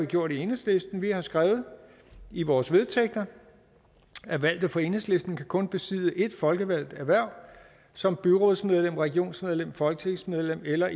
gjort i enhedslisten vi har skrevet i vores vedtægter at alle fra enhedslisten kun kan besidde ét folkevalgt hverv som byrådsmedlem regionsrådsmedlem folketingsmedlem eller